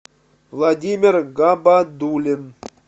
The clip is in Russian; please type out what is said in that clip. владимир габадуллин